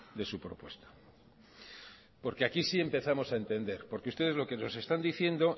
de su propuesta porque aquí sí empezamos a entender porque ustedes lo que nos están diciendo